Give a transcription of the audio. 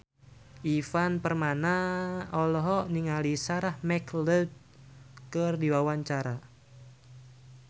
Ivan Permana olohok ningali Sarah McLeod keur diwawancara